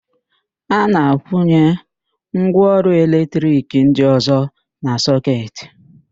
A na-akwụnye ngwaọrụ eletrik ndị ọ̀zọ́ na sọketị.